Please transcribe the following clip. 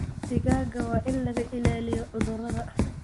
Digaagga waa in laga ilaaliyo cudurrada.